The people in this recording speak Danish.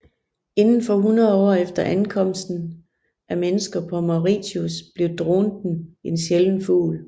Inden for 100 år efter ankomsten af mennesker på Mauritius blev dronten en sjælden fugl